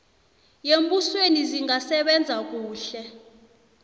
yembusweni zingasebenza kuhle